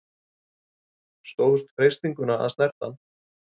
Stóðst freistinguna að snerta hann